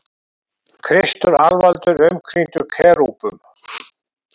Kristur alvaldur umkringdur kerúbum.